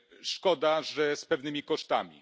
Szkoda, że z pewnymi kosztami.